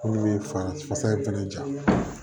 Minnu bɛ fasa in fana ja